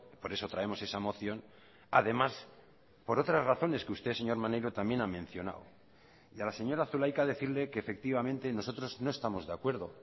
por eso traemos esa moción además por otras razones que usted señor maneiro también ha mencionado y a la señora zulaika decirle que efectivamente nosotros no estamos de acuerdo